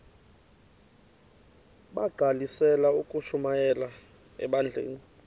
bagqalisele ukushumayela ebandleni